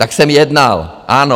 Tak jsem jednal, ano?